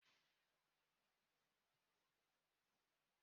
Onye anwunta tara ga-ebute ịba